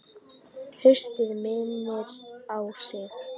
Haustið minnir á sig.